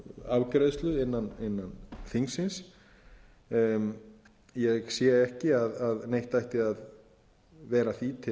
afgreiðslu innan þingsins ég sé ekki að neitt ætti að vera því